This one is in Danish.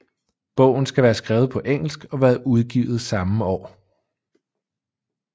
Bogen skal være skrevet på engelsk og være udgivet samme år